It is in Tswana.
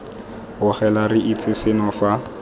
bogela re itse seno fa